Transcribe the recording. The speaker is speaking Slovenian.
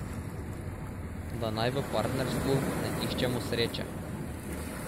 Da naj v partnerstvu ne iščemo sreče.